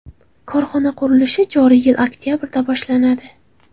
Korxona qurilishi joriy yil oktabrda boshlanadi.